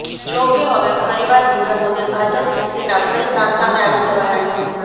જોકે હવે ફરીવાર બીજા મુદ્દે ભાજપ શિવસેના ફરી સામસામે આવી જવાના છે